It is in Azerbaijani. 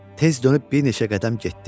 Tez dönüb bir neçə qədəm getdi.